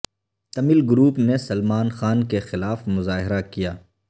Tamil group نے سلمان خان کے خلاف مظاہرہ کیا